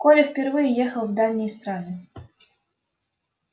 коля впервые ехал в дальние страны